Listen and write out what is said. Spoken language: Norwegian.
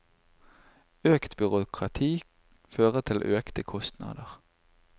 Økt byråkrati fører til økte kostnader.